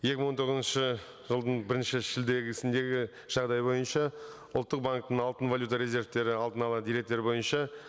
екі мың он тоғызыншы жылдың бірінші жағдайы бойынша ұлттық банктің алтын валюта резервтері алдын ала деректер бойынша